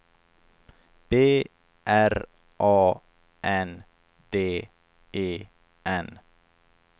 B R A N D E N